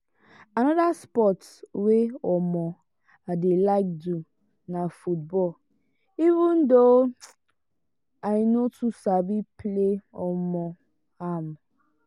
another sports wey um i dey like do na football even though i no too sabi play um am.